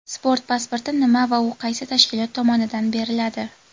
Sport pasporti nima va u qaysi tashkilot tomonidan beriladi?.